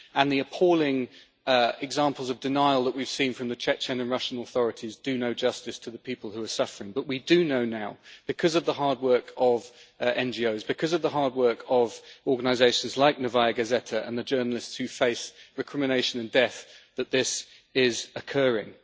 The appalling examples of denial that we have seen from the Chechen and Russian authorities do no justice to the people who are suffering, but we do know now, because of the hard work of NGOs, because of the hard work of organisations like Novaya Gazeta and the journalists who face recrimination and death, that this is occurring.